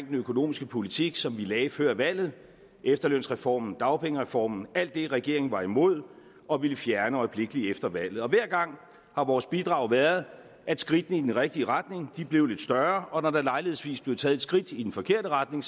den økonomiske politik som vi lagde før valget efterlønsreformen dagpengereformen alt det regeringen var imod og ville fjerne øjeblikkelig efter valget hver gang har vores bidrag været at skridtene i den rigtige retning blev lidt større og når der lejlighedsvis blev taget et skridt i den forkerte retning